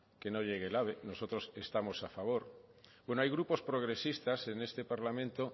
que no llegue el ave nosotros estamos a favor bueno hay grupos progresistas en este parlamento